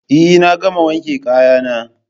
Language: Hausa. Eh na gama wanke kaya na